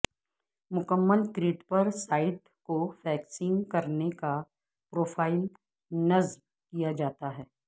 مکمل کریٹ پر سائیڈ کو فکسنگ کرنے کا پروفائل نصب کیا جاتا ہے